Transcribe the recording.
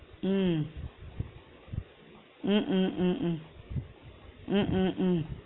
உம் உம் உம் உம் உம் உம் உம் உம்